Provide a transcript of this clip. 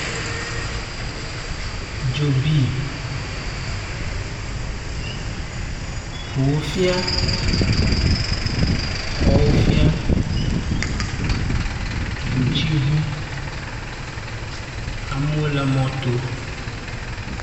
Dzo bi ŋuwo fia, xɔwo fia, dzotsiŋu amewo le mɔto.